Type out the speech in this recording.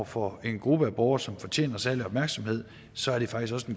for en gruppe af borgere som fortjener særlig opmærksomhed så er det faktisk også